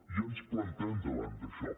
i ens plantem davant d’això